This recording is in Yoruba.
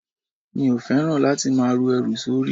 Mi ò fẹ́ràn láti máa ru ẹrù sórí.